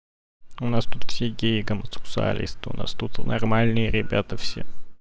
у нас тут все геи гомосексуалисты у нас тут нормальные ребята все